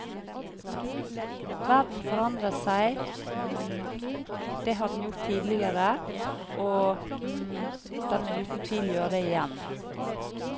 Verden forandrer seg; det har den gjort tidligere, og den vil uten tvil gjøre det igjen.